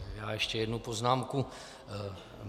Já ještě jednu poznámku.